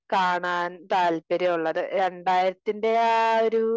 കാണാൻ താല്പര്യം ഉള്ളത് രണ്ടായിരത്തിൻറെ ആ ഒരു